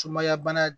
Sumaya bana